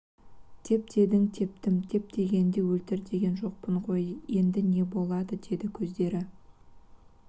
теп дедің тептім теп дегенде өлтір деген жоқпын ғой енді не болады деді көздері